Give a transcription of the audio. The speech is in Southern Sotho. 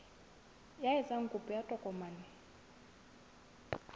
ya etsang kopo ya tokomane